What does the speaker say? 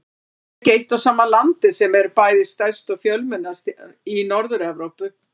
Það er ekki eitt og sama landið sem er bæði stærst og fjölmennast í Norður-Evrópu.